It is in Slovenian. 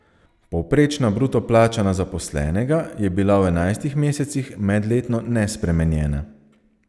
Povprečna bruto plača na zaposlenega je bila v enajstih mesecih medletno nespremenjena.